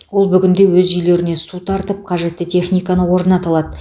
ол бүгінде өзі үйлерге су тартып қажетті техниканы орната алады